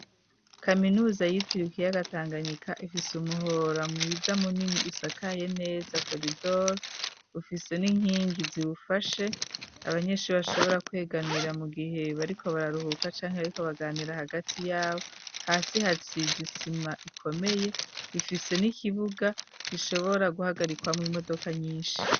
Kaminuza yitirikiye ikiyaga tanganika ifise umuhora mwiza munini usakaye neza coridor bufise n'inkingi zibufashe abanyeshuri bashobora kwegamira mu gihe bariko bararuhuka cange ariko baganira hagati y'abo hasi hatsizi isima ikomeye bifise n'ikibuga gishobora guhagarikwa mu imodoka nyinshi.